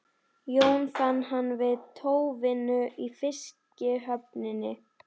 Jón fann hann við tóvinnu í fiskihöfninni.